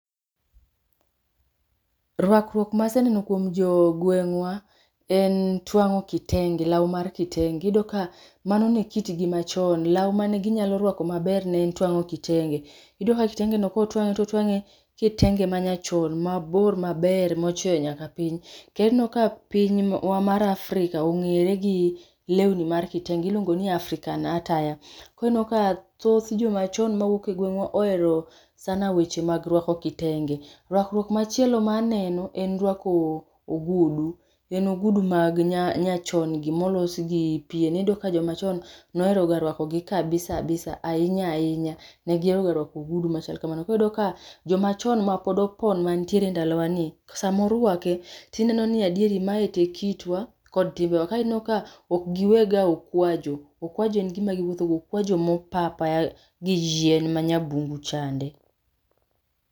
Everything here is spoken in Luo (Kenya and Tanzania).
ruakruok maseneno kuon jo gweng'wa, en twang'o kitenge, law mar kitenge. Iyudo ka mano ne kitgi machon, law mane ginyalo rwako maber ne en twang'o kitenge. Iyudo ka kitenge no kotwang'e totwang'e kitenge ma nyachon mabor maber mochweyo nyaka piny. Kendo ineno ka pinywa mar Afrika ni ong'ere gi lewni mar kitenge, iluongo ni African attire. Koro ineno ka thoth jomachon mawuok e gweng'wa oero sana weche mag ruako kitenge. Ruakruok machielo ma aneno en ruako o ogudu, en ogudu mag nya nyachon gi molos gi pien, iyudo ka jomachon nohero ga ruako gi kabisa abisa, ahinya ahinya. Negihero ga ruako ogudu machal kamano. Koro iyudo ka jomachon mapod opon mantiere e ndalo wa ni, samoruake, tineno ni adieri mae te e kitwa kod timbewa ka ineno ka ok giwe ga okwajo, okwajo en gima giwuotho go, okwajo mopa apaya gi yien ma nyabungu chande